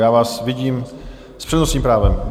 Já vás vidím - s přednostním právem.